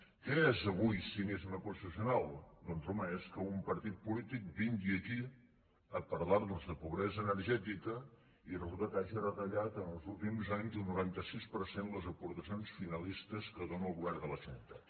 què és avui cinisme constitucional doncs home és que un partit polític vingui aquí a parlarnos de pobresa energètica i resulta que hagi retallat en els últims anys un noranta sis per cent les aportacions finalistes que dóna el govern de la generalitat